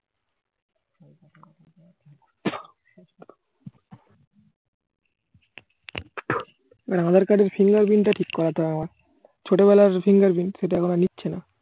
আধার card এর fingerprint তা ঠিক করাতে হবে আমার ছোটবেলার fingerprint সেটা এখন আর নিচ্ছে না